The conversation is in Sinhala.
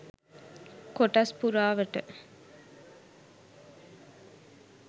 කොටස් පුරාවට